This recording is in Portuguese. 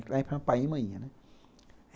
Paiinho e mainha, né?